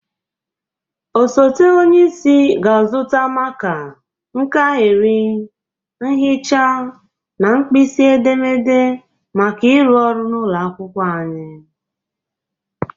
Osote onyeisi ga-azụta maka, nkahịrị, mhịcha na nkpisi edemede maka ịrụ ọrụ n'ụlọ akwụkwọ anyị.